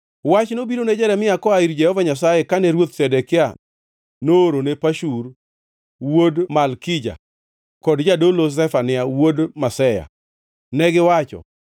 Wach nobiro ne Jeremia koa ir Jehova Nyasaye kane Ruoth Zedekia noorone Pashur wuod Malkija kod jadolo Zefania wuod Maseya. Negiwacho: